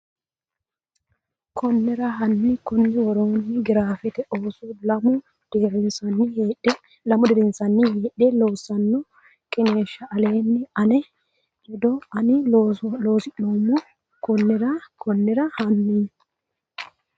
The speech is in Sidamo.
Konnira hanni konni woroonni girafete ooso lamu dirinsanni heedhe loossanno qiniishsha aleenni ane ledo ini looso neemmo Konnira Konnira hanni.